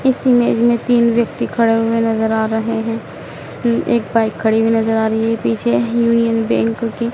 इस इमेज में तीन व्यक्ति खड़े हुए नजर आ रहे हैं एक बाइक खड़ी हुई नजर आ रही है पीछे यूनियन बैंक की--